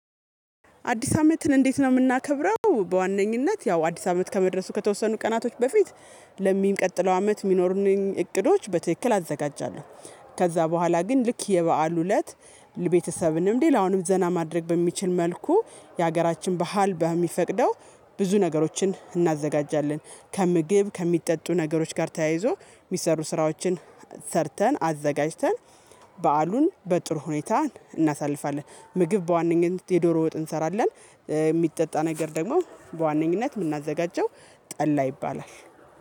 አዲስ አመትን እንዴት ነው የምናከብረው በዋነኝነት ያው አዲስ አመት ከመድረሱ ከተወሰኑ ቀናቶች በፊት ለሚቀጥለው አመት የሚኖሩኝን እቅዶች በትክክል አዘጋጃለሁ ከዛ በኋላ ግን ልክ የበአሉ እለት ለቤተሰብንም ሌላውንም ዘና ማድረግ በሚችል መልኩ የሀገራችን ባህል በሚፈቅደው ብዙ ነገሮችን እናዘጋጃለን። ከምግብ ከሚጠጡ ነገሮች ጋር ተያይዞ የሚሰሩ ስራዎችን ሰርተን፣ አዘጋጅተን በዓሉን በጥሩ ሁኔታ እናሳልፋለን። ምግብ በዋነኝነት የዶሮ ወጥ እንሰራለን የሚጠጣ ነገር ደግሞ በዋነኝነት የምናዘጋጀው ጠላ ይባላል።